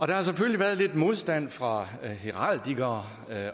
der har selvfølgelig været lidt modstand fra heraldikere